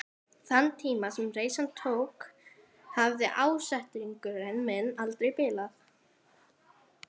Þann tíma sem reisan tók hafði ásetningur minn aldrei bilað.